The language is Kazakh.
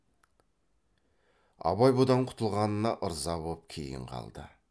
абай бұдан құтылғанына ырза боп кейін қалды